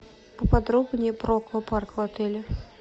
поподробнее про аквапарк в отеле